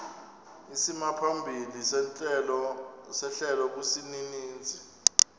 isimaphambili sehlelo kwisininzi